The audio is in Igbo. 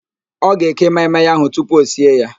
Ọ ga-eke maị-maị ahụ tupu o sie ya